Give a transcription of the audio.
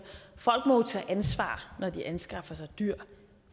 tage ansvar når de anskaffer sig dyr